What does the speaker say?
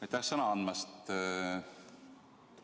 Aitäh sõna andmast!